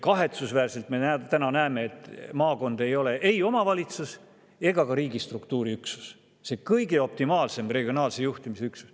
Kahetsusväärselt me täna näeme, et maakond ei ole ei omavalitsus ega ka riigistruktuuri üksus – see optimaalne regionaalse juhtimise üksus.